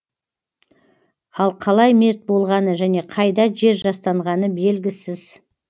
ал қалай мерт болғаны және қайда жер жастанғаны белгісіз